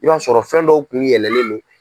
I b'a sɔrɔ fɛn dɔw kun yɛlɛlen don.